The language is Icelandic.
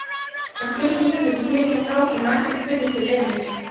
En klukkustundirnar snigluðust áfram og ekkert spurðist til Emils.